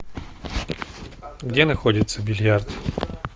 где находится бильярд